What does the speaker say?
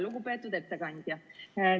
Lugupeetud ettekandja!